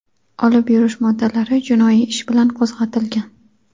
olib yurish moddalari jinoiy ish bilan qo‘zg‘atilgan.